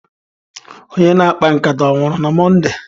Onye na-akpa nkata onwuru na Mọnde?